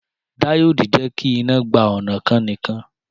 Díòdì jẹ́kí iná gba ọnà kan nìkan